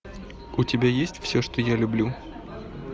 у тебя есть все что я люблю